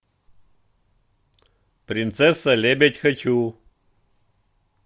принцесса лебедь хочу